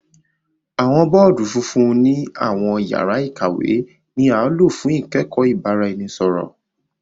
Awọn bọọdu fúnfún ni awọn yàrá ìkàwé ni a lo fun ikẹkọ ibaraẹniṣepo.